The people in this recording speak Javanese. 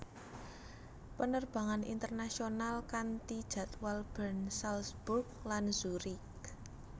Penerbangan internasional kanti jadwal Bern Salzburg lan Zurich